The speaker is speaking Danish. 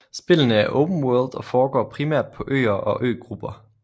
Spillene er open world og foregår primært på øer og øgrupper